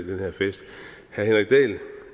den her fest herre henrik dahl